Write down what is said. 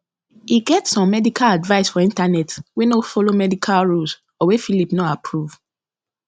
e get some medical advice for internet wey no follow medical rules or wey phillip no approve